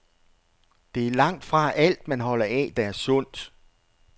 Det er langtfra alt, man holder af, der er sundt.